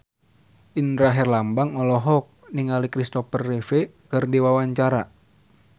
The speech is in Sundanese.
Indra Herlambang olohok ningali Kristopher Reeve keur diwawancara